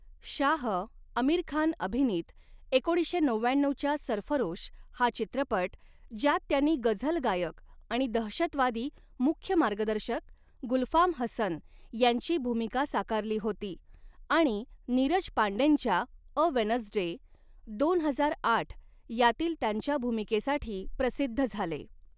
शाह, आमिर खान अभिनीत एकोणीसशे नवव्याण्णऊच्या 'सरफरोश' हा चित्रपट, ज्यात त्यांनी गझल गायक आणि दहशतवादी मुख्य मार्गदर्शक गुलफाम हसन यांची भूमिका साकारली होती आणि नीरज पांडेंच्या अ वेनसडे दोन हजार आठ यातील त्यांच्या भूमिकेसाठी प्रसिद्ध झाले.